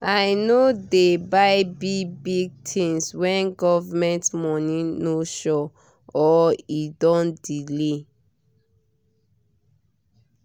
i no dey buy big-big things when government money no sure or e don delay